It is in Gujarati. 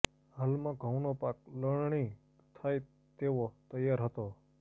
હાલમાં ઘઉંનો પાક લણણી થાય તેવો તૈયાર હતો